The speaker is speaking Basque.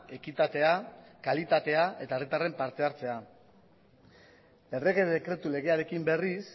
ekitatea kalitatea eta herritarren parte hartzea errege dekretu legearekin berriz